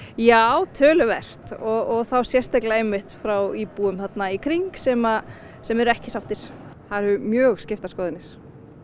já töluvert og þá sérstaklega frá íbúum í kring sem sem eru ekki sáttir það eru mjög skiptar skoðanir